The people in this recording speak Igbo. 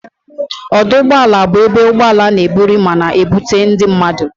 Ọdụ ụgbọala bụ ebe ụgbọala n'eburu ma na ebutu ndị mmadụ